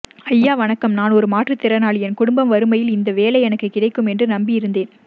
ஐயா வணக்கம் நான் ஒரு மாற்றுதிறனாளி என் குடும்பம் வறுமையில் இந்த வேலை எனக்கு கிடைக்கும் என்று நம்பி இருந்தேன்